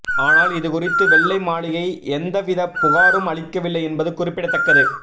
ஆனால் இதுகுறித்து வெள்ளை மாளிகை எந்தவித புகாரும் அளிக்கவில்லை என்பது குறிப்பிடத்தக்கது